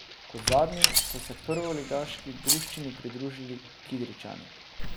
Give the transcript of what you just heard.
Kot zadnji so se prvoligaški druščini pridružili Kidričani.